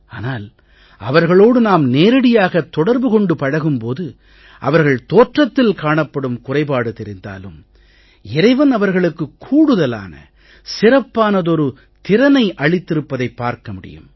ஆனால் அவர்களோடு நாம் நேரடியாகத் தொடர்பு கொண்டு பழகும் போது அவர்கள் தோற்றத்தில் காணப்படும் குறைபாடு தெரிந்தாலும் இறைவன் அவர்களுக்குக் கூடுதலான சிறப்பானதொரு திறனை அளித்திருப்பதைப் பார்க்க முடியும்